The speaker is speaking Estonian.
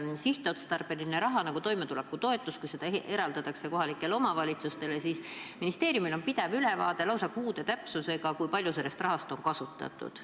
Kui sihtotstarbelist raha, nagu on toimetulekutoetus, eraldatakse kohalikele omavalitsustele, siis ministeeriumil on pidev ülevaade, lausa kuu täpsusega, kui palju sellest rahast on kasutatud.